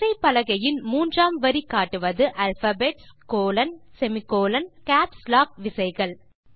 விசைப்பலகையின் மூன்றாம் வரி காட்டுவது alphabetsகோலோன் செமிகோலன் மற்றும் கேப்ஸ் லாக் விசைகள்